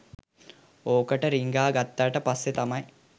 ඕකට රින්ග ගත්තට පස්සේ තමයි